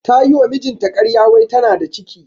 Ta yi wa mijinta ƙarya wai tana da ciki.